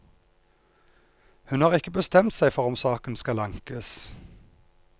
Hun har ikke bestemt seg for om saken skal ankes.